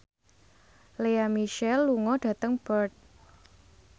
Lea Michele lunga dhateng Perth